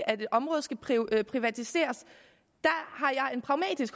at et område skal privatiseres